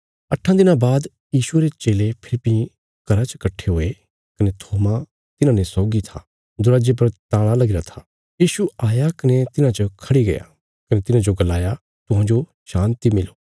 अट्ठां दिनां बाद यीशुये रे चेले फेरी भीं घरा च कट्ठे हुये कने थोमा तिन्हांने सौगी था दरवाजे पर ताला लगीरा था यीशु आया कने तिन्हां च खढ़ी गया कने तिन्हांजो गलाया तुहांजो शान्ति मिलो